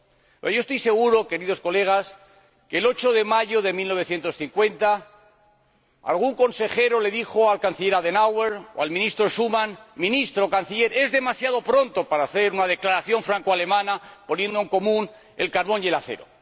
Pero yo estoy seguro, Señorías, de que, el 8 de mayo de 1950, algún consejero les dijo al Canciller Adenauer o al Ministro Schuman Ministro, Canciller, es demasiado pronto para hacer una declaración francoalemana, poniendo en común el carbón y el acero.